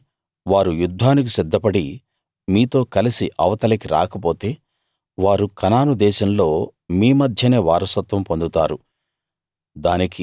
కాని వారు యుద్ధానికి సిద్ధపడి మీతో కలిసి అవతలకి రాకపోతే వారు కనాను దేశంలో మీ మధ్యనే వారసత్వం పొందుతారు